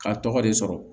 K'a tɔgɔ de sɔrɔ